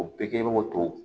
O bɛɛ kɛ o to